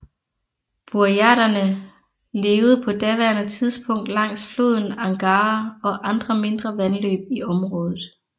Burjaterne levede på daværende tidspunkt langs floden Angara og andre mindre vandløb i området